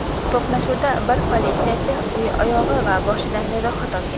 To‘qnashuvda bir politsiyachi oyog‘i va boshidan jarohat olgan.